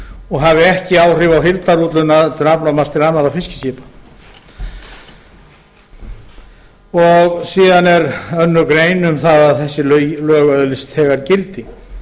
og hafi ekki áhrif á heildarúthlutun aflamarks til annarra fiskiskipa síðan er önnur grein um að þessi lög öðlist þegar gildi